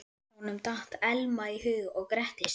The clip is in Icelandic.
Honum datt Elma í hug og gretti sig.